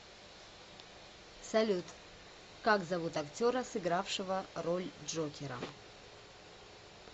салют как зовут актера сыгравшего роль джокера